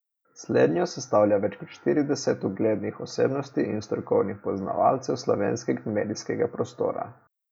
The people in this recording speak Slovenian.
Slednjo sestavlja več kor štirideset uglednih osebnosti in strokovnih poznavalcev slovenskega medijskega prostora.